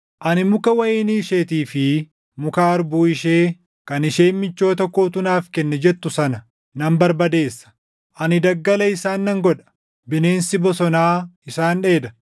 Ani muka wayinii isheetii fi muka harbuu ishee kan isheen michoota kootu naaf kenne jettu sana nan barbadeessa. Ani daggala isaan nan godha; bineensi bosonaa isaan dheeda.